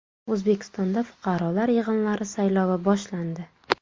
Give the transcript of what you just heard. O‘zbekistonda fuqarolar yig‘inlari saylovi boshlandi .